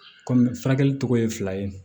Kɔmi furakɛli tɔgɔ ye fila ye